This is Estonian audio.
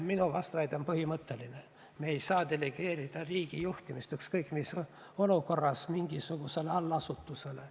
Minu vastuväide on põhimõtteline: me ei saa delegeerida riigijuhtimist ükskõik millises olukorras mingisugusele allasutusele.